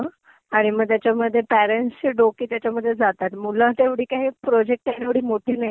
आणि मग त्याच्यामध्ये पेरेंट्सचे डोके त्याच्यामध्ये जातात. मुलं तेवढी काई हे प्रोजेक्ट करण्याएवढी काई मोठी नाइयेत.